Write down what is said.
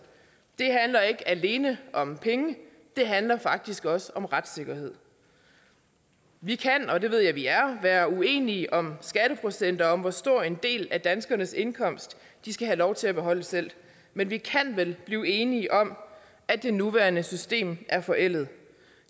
det handler ikke alene om penge det handler faktisk også om retssikkerhed vi kan og det ved jeg vi er være uenige om skatteprocenter og om hvor stor en del af danskernes indkomst de skal have lov til at beholde selv men vi kan vel blive enige om at det nuværende system er forældet